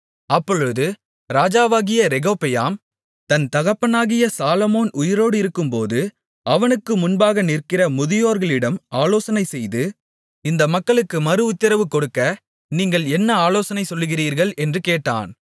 அப்பொழுது ராஜாவாகிய ரெகொபெயாம் தன் தகப்பனாகிய சாலொமோன் உயிரோடிருக்கும்போது அவனுக்கு முன்பாகநின்ற முதியோர்களிடம் ஆலோசனைசெய்து இந்த மக்களுக்கு மறுஉத்திரவு கொடுக்க நீங்கள் என்ன ஆலோசனை சொல்லுகிறீர்கள் என்று கேட்டான்